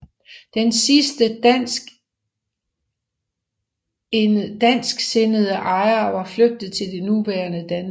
Den sidste dansksindede ejer var flygtet til det nuværende Danmark